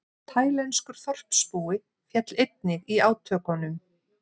Taílenskur þorpsbúi féll einnig í átökunum